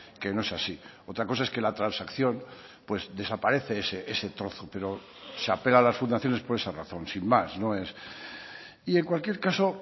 que no es así otra cosa es que la transacción pues desaparece ese trozo pero se apela a las fundaciones por esa razón sin más no es y en cualquier caso